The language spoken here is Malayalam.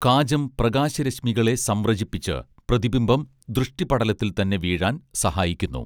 കാചം പ്രകാശരശ്മികളെ സംവ്രജിപ്പിച്ച് പ്രതിബിംബം ദൃഷ്ടിപടലത്തിൽ തന്നെ വീഴാൻ സഹായിക്കുന്നു